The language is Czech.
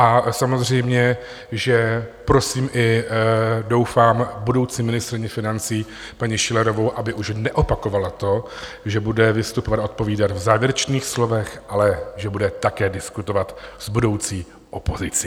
A samozřejmě, že prosím i doufám budoucí ministryni financí paní Schillerovou, aby už neopakovala to, že bude vystupovat a odpovídat v závěrečných slovech, ale že bude také diskutovat s budoucí opozicí.